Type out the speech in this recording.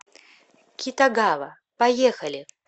китагава поехали